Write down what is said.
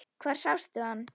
Hvar sástu hann?